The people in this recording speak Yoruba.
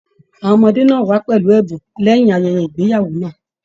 Àwọn ọmọdé náà wá pẹlú ẹbùn lẹyìn ayẹyẹ ìgbéyàwó náà.